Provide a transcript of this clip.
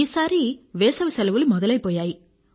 ఈసారి వేసవి సెలవులు మొదలైపోయాయి